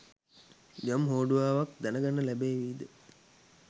යම් හෝඩුවාවක් දැනගන්න ලැබේවිද?